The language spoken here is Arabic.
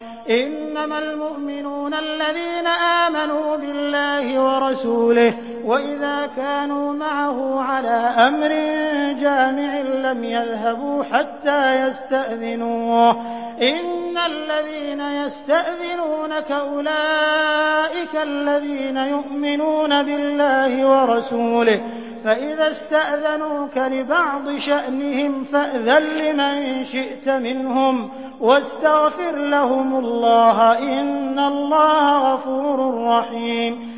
إِنَّمَا الْمُؤْمِنُونَ الَّذِينَ آمَنُوا بِاللَّهِ وَرَسُولِهِ وَإِذَا كَانُوا مَعَهُ عَلَىٰ أَمْرٍ جَامِعٍ لَّمْ يَذْهَبُوا حَتَّىٰ يَسْتَأْذِنُوهُ ۚ إِنَّ الَّذِينَ يَسْتَأْذِنُونَكَ أُولَٰئِكَ الَّذِينَ يُؤْمِنُونَ بِاللَّهِ وَرَسُولِهِ ۚ فَإِذَا اسْتَأْذَنُوكَ لِبَعْضِ شَأْنِهِمْ فَأْذَن لِّمَن شِئْتَ مِنْهُمْ وَاسْتَغْفِرْ لَهُمُ اللَّهَ ۚ إِنَّ اللَّهَ غَفُورٌ رَّحِيمٌ